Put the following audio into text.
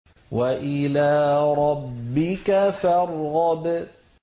وَإِلَىٰ رَبِّكَ فَارْغَب